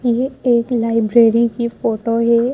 ये एक लाइब्रेरी की फोटो है।